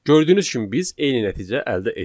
Gördüyünüz kimi biz eyni nəticə əldə etdik.